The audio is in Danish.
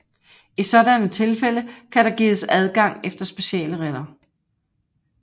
I sådanne tilfælde kan der gives adgang efter specielle regler